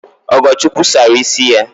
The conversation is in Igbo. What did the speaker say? Ogochukwu sara ịsị ya